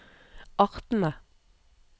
artene